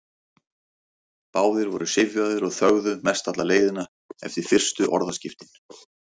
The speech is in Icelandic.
Báðir voru syfjaðir og þögðu mest alla leiðina eftir fyrstu orðaskiptin.